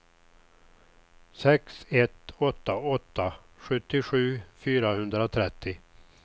sex ett åtta åtta sjuttiosju fyrahundratrettio